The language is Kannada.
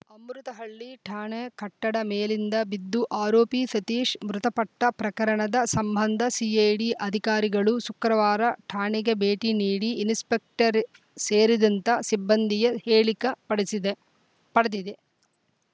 ಅಮೃತಹಳ್ಳಿ ಠಾಣೆ ಕಟ್ಟಡ ಮೇಲಿಂದ ಬಿದ್ದು ಆರೋಪಿ ಸತೀಶ್‌ ಮೃತಪಟ್ಟ ಪ್ರಕರಣದ ಸಂಬಂಧ ಸಿಎ ಡಿ ಅಧಿಕಾರಿಗಳು ಶುಕ್ರವಾರ ಠಾಣೆಗೆ ಭೇಟಿ ನೀಡಿ ಇನ್ಸ್‌ಪೆಕ್ಟರ್‌ ಸೇರಿದಂತ ಸಿಬ್ಬಂದಿಯ ಹೇಳಕ ಪಡೆಸಿದಿದೆ ಪಡೆದಿದೆ